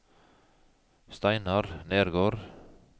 Steinar Nergård